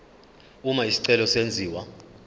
uma isicelo senziwa